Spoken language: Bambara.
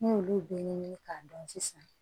N'i y'olu bɛɛ ɲɛɲini k'a dɔn sisan